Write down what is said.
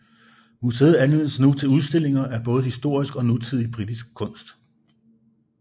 Museet anvendes nu til udstillinger af både historisk og nutidig britisk kunst